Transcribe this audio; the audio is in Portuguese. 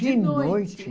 De noite.